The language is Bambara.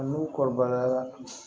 N'u kɔrɔbayala